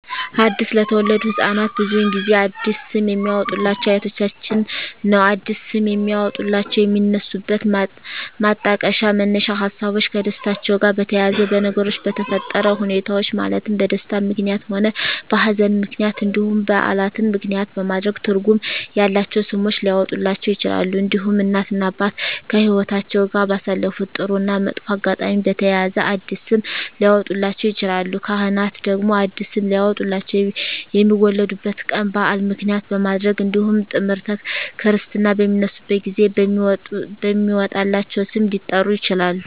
አዲስ ለተወለዱ ህፃናት ብዙውን ጊዜ አዲስ ስም የሚያወጡሏቸው አያቶቻቸውን ነው አዲስ ስም የሚያወጧላቸው የሚነሱበት ማጣቀሻ መነሻ ሀሳቦች ከደስታቸው ጋር በተያያዘ በነገሮች በተፈጠረ ሁኔታዎች ማለትም በደስታም ምክንያትም ሆነ በሀዘንም ምክንያት እንዲሁም በዓላትን ምክንያትም በማድረግ ትርጉም ያላቸው ስሞች ሊያወጡላቸው ይችላሉ። እንዲሁም እናት እና አባት ከህይወትአቸው ጋር ባሳለፉት ጥሩ እና መጥፎ አጋጣሚ በተያያዘ አዲስ ስም ሊያወጡላቸው ይችላሉ። ካህናት ደግሞ አዲስ ስም ሊያወጡላቸው የሚወለዱበት ቀን በዓል ምክንያት በማድረግ እንዲሁም ጥምረተ ክርስትና በሚነሱበት ጊዜ በሚወጣላቸው ስም ሊጠሩ ይችላሉ።